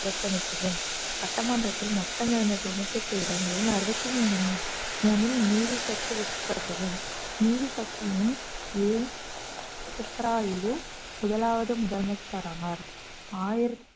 புறக்கணித்தது சட்டமன்றத்தில் மொத்தங்களான தொண்ணுத்தெட்டு இடங்களில் அறுபத்தி மூன்று மூணில் நீதி கட்சி வெற்றிபெற்றது நீதி கட்சியில் ஏ சுப்புராயலு முதலாவது முதலமைச்சர் ஆவார்